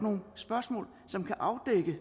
det